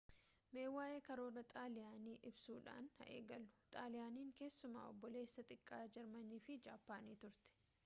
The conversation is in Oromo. mee waa'ee karoora xaaliyaanii ibsuudhaan haa eegallu xaaliyaaniin keessumaa obboleessa xiqqaa jarmanii fi jaappaanii turte